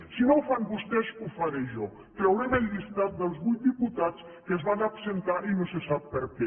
si no ho fan vostès ho faré jo traurem el llistat dels vuit diputats que es van absentar i no se sap per què